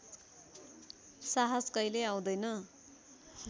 साहस कहिल्यै आउँदैन